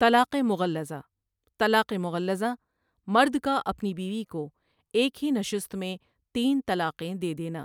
طلاقِ مُغَلَّظہ طلاق مغلظہ مرد کا اپنی بیوی کو ایک ہی نشست میں تین طلاقیں دے دینا ۔